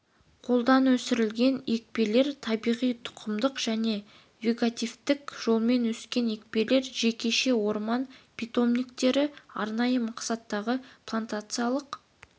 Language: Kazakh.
қолдан өсірілген екпелер табиғи тұқымдық және вегетативтік жолмен өскен екпелер жекеше орман питомниктері арнайы мақсаттағы плантациялық